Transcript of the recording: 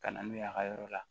Ka na n'u ye a ka yɔrɔ la